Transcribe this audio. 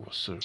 wɔ sor.